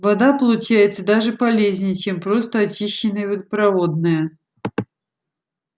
вода получается даже полезнее чем просто очищенная водопроводная